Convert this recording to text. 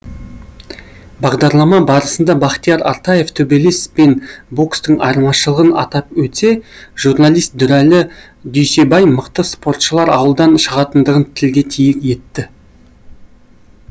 бағдарлама барысында бахтияр артаев төбелес пен бокстың айырмашылығын атап өтсе журналист дүрәлі дүйсебай мықты спортшылар ауылдан шығатындығын тілге тиек етті